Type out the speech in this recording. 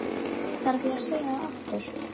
Þarf ég að segja það aftur?